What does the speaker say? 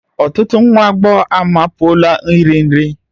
Ọtụtụ nwa agbọghọ amapuola iri nri